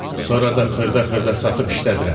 Sonra da xırda-xırda satıb işlədirəm.